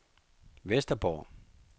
Vesterborg